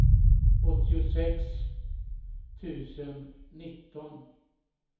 åttiosex tusen nitton